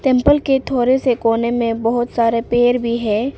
Temple के थोड़े से कोने में बहोत सारे पेड़ भी है।